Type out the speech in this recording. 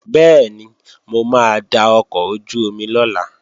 Bẹ́ẹ̀ni, mo máa da ọkọ̀ ojú-omi lọ̀la